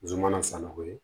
Zuman san nako ye